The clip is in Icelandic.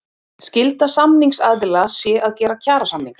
Skylda samningsaðila sé að gera kjarasamninga